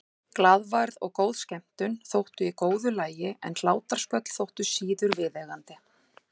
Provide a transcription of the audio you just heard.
Glaðværð og góð skemmtun þóttu í góðu lagi en hlátrasköll þóttu síður viðeigandi.